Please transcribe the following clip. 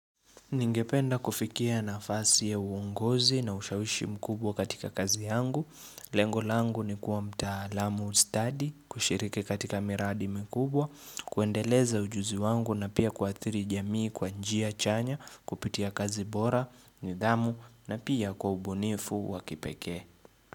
Ningependa kufikia nafasi ya uongozi na ushawishi mkubwa katika kazi yangu. Lengo langu ni kuwa mtalamu stadi, kushiriki katika miradi mikubwa, kuendeleza ujuzi wangu na pia kuathiri jamii kwa njia chanya, kupitia kazi bora, nidhamu na pia kwa ubunifu wa kipekee.